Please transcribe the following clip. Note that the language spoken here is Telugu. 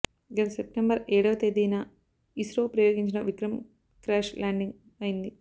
గత సెప్టెంబర్ ఏడవ తేదీన ఇస్రో ప్రయోగించిన విక్రమ్ క్రాష్ ల్యాండింగ్ అయింది